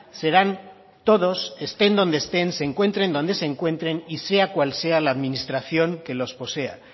serán todos estén donde estén se encuentren donde se encuentren y sea cual sea la administración que los posea